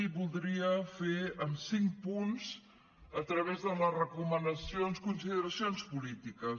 i voldria fer en cinc punts a través de les recomanacions consideracions polítiques